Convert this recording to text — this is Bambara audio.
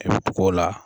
I bɛ tugu o la